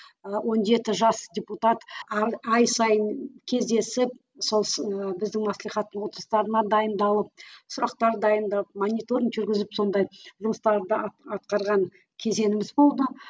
ы он жеті жас депутат ай сайын кездесіп сол біздің маслихаттың отырыстарына дайындалып сұрақтар дайындап мониторинг жүргізіп сондай жұмыстарды атқарған кезеңіміз болды